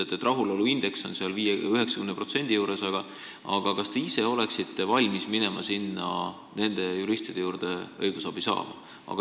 Te ütlete küll, et rahuloluindeks on ligi 90%, aga ikkagi, kas te ise oleksite valmis minema nende juristide juurde õigusabi saama?